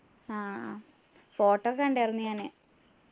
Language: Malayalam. ആഹ് photo കണ്ടാർന്നു ഞാന്